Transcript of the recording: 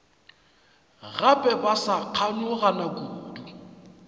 gape ba sa kganyogana kudu